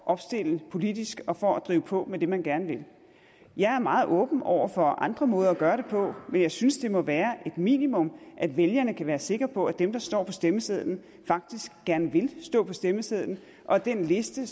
opstille politisk og for at drive på med det man gerne vil jeg er meget åben over for andre måder at gøre det på men jeg synes det må være et minimum at vælgerne kan være sikre på at dem der står på stemmesedlen faktisk gerne vil stå på stemmesedlen og at den liste